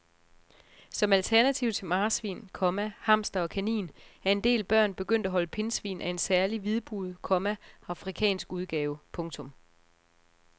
Som alternativ til marsvin, komma hamster og kanin er en del børn begyndt at holde pindsvin af en særlig hvidbuget, komma afrikansk udgave. punktum